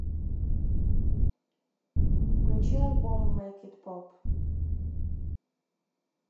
включи альбом мэйк ит поп